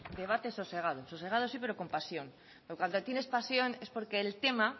debate sosegado sosegado sí pero con pasión porque cuando tienes pasión es porque el tema